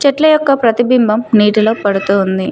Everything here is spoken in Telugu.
చెట్ల యొక్క ప్రతిబింబం నీటిలో పడుతూ ఉంది.